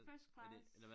First class